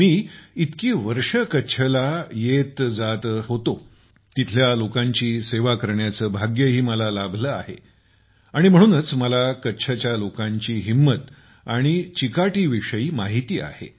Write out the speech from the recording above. मी इतकी वर्षे कच्छला येतजातो तिथल्या लोकांची सेवा करण्याचे भाग्यही मला लाभले आहे आणि म्हणूनच मला कच्छच्या लोकांची हिंमत आणि उपजीविकेविषयी माहिती आहे